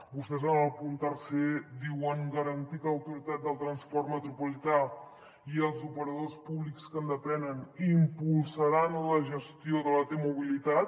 vostès en el punt tercer diuen garantir que l’autoritat del transport metropolità i els operadors públics que en depenen impulsaran la gestió de la t mobilitat